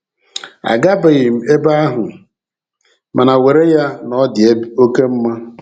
A gabeghi m ebe ahụ; mana, were ya na ọ dị oké mma!